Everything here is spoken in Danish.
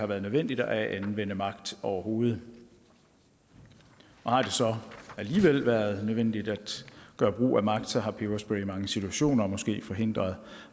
været nødvendigt at anvende magt overhovedet og har det så alligevel været nødvendigt at gøre brug af magt har peberspray været i mange situationer måske forhindret